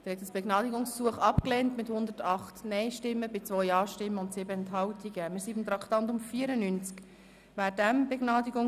Sie haben dieses Begnadigungsgesuch mit 108 Nein- zu 2 Ja-Stimmen bei 7 Enthaltungen abgelehnt.